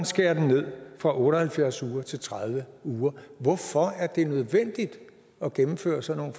skæres ned fra otte og halvfjerds uger til tredive uger hvorfor er det nødvendigt at gennemføre sådan